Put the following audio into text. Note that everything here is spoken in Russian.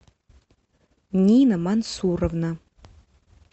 нина мансуровна